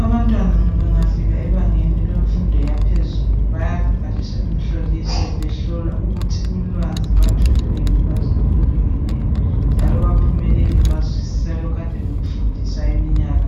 Abantwana bengafika ebangeni lemfundo yaphezulu bayabhaliswa umhloliso behlola ukuthi ulwazi batholile yini ulwazi olulingeneyo njalo baphumelelile bazwisisa lokhu abakade bekufundisa okweminyaka